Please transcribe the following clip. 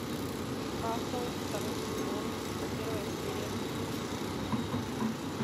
касл второй сезон первая серия